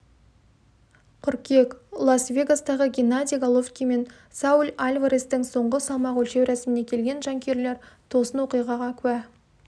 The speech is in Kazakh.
қыркүйек лас-вегастағы геннадий головкин мен сауль альварестің соңғы салмақ өлшеу рәсіміне келген жанкүйерлер тосын оқиғаға куә